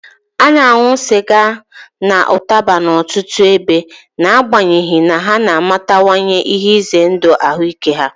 A na-aṅụ sịga na ụtaba n'ọtụtụ ebe, n'agbanyeghị na ha na-amatawanye ihe ize ndụ ahụike ha.